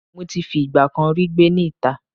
Mo ti fi ìgbà kan rí gbé ní ìta